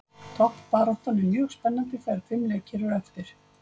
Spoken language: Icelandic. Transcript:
Toppbaráttan er mjög spennandi þegar fimm leikir eru eftir.